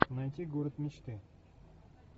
найти город мечты